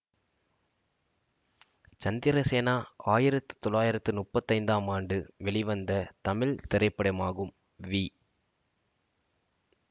சந்திரசேனா ஆயிரத்தி தொள்ளாயிரத்தி முப்பத்தி ஐந்து ஆம் ஆண்டு வெளிவந்த தமிழ் திரைப்படமாகும் வி